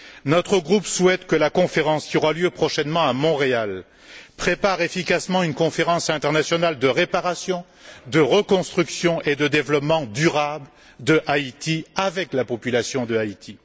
Notre groupe souhaite que la conférence qui aura lieu prochainement à Montréal prépare efficacement une conférence internationale de réparation, de reconstruction et de développement durable d'Haïti avec la population d'Haïti.